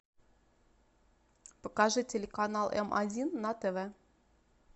покажи телеканал м один на тв